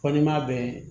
Fɔ n'i m'a bɛɛ